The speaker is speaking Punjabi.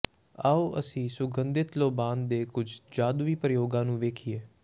ਆਓ ਅਸੀਂ ਸੁਗੰਧਿਤ ਲੋਬਾਨ ਦੇ ਕੁਝ ਜਾਦੂਈ ਪ੍ਰਯੋਗਾਂ ਨੂੰ ਵੇਖੀਏ